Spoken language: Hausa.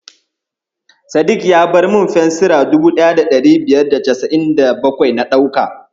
Sadik ya bar min fensira 1597 na ɗauka.